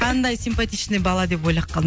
қандай сипатичный бала деп ойлап қалдым